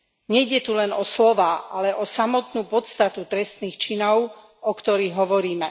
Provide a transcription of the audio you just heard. Nejde tu len o slová, ale o samotnú podstatu trestných činov, o ktorých hovoríme.